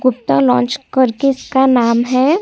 Gupta lounge कर करके इसका नाम है।